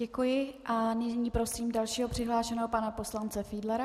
Děkuji a nyní prosím dalšího přihlášeného, pana poslance Fiedlera.